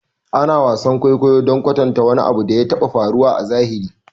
Ana wasan kwaikwayo don kwatanta wani abu da ya taɓa faruwa a zahiri